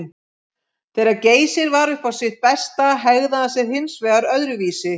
Þegar Geysir var upp á sitt besta hegðaði hann sér hins vegar öðruvísi.